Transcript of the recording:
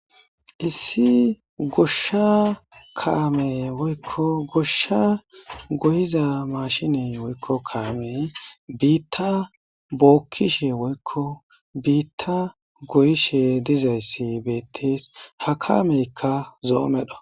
issi goshsha kaame woykko goshsha goyiza maashiney woykko kaamey biitta bookishe woykko biitta goyishe dizayssi betes, ha kaameykka zo,o medho.